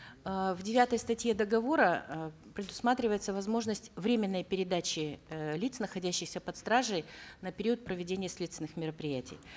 э в девятой статье договора э предусматривается возможность временной передачи э лиц находящихся под стражей на период проведения следственных мероприятий